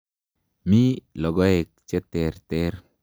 Mi logoek che terter.